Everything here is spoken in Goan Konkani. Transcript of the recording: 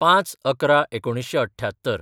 ०५/११/१९७८